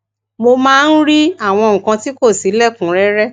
mo máa ń rí àwọn nǹkan tí kò si lekunrere